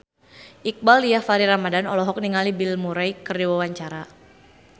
Iqbaal Dhiafakhri Ramadhan olohok ningali Bill Murray keur diwawancara